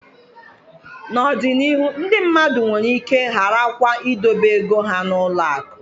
N'ọdịnihu ndị mmadụ nwere ike gharakwa idobe ego ha n'ụlọ akụ